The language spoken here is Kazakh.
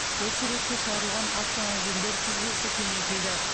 осы ретте шағырылған автомобильдер тізбесі кеңейтілді